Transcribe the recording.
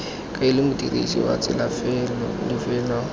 kaela modirisi wa tsela lefelo